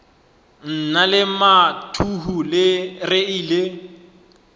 nna le mathuhu re ile